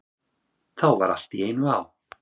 Þá var allt í einu á.